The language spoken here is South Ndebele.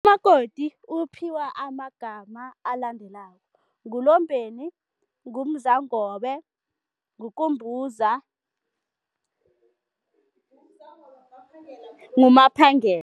Umakoti uphiwa amagama alandelako, nguLombeni, nguMzangobe, nguKumbuza nguMaphangela.